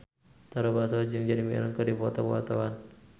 Tara Basro jeung Jeremy Irons keur dipoto ku wartawan